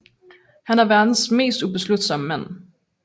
Han er verdens mest ubeslutsomme mand